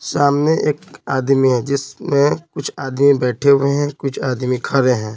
सामने एक आदमी है जिसमें कुछ आदमी बैठे हुए हैं कुछ आदमी खड़े हैं।